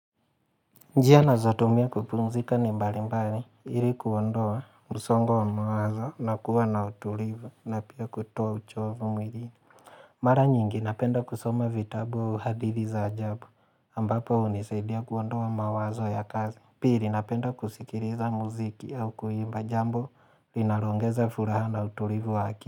Njia naeza tumia kupumzika ni mbali mbali, ili kuondoa msongo wa mawazo, na kuwa na utulivu, na pia kutoa uchovu mwili. Mara nyingi, napenda kusoma vitabu hadithi za ajabu, ambapo hunisaidia kuondoa mawazo ya kazi. Pili, napenda kusikiliza muziki au kuimba jambo, linaloongeza furaha na utulivu wa aki.